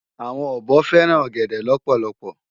Awòn òbò fèrán ògèdè lòpòlòpò